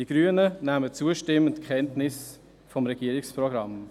Die Grünen nehmen zustimmend Kenntnis vom Regierungsprogramm.